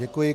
Děkuji.